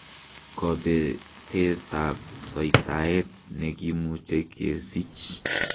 Kobetetab soitaet nekimuche kesich.